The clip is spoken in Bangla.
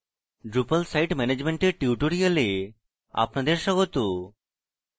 drupal site management এর tutorial আপনাদের স্বাগত